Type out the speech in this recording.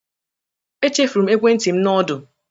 Echefuru m ekwentị m na ọdụ.